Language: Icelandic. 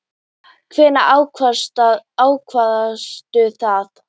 Hvenær ákvaðstu það?